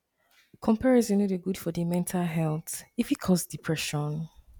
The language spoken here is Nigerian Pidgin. comparison no dey good for di mental health e fit cause depression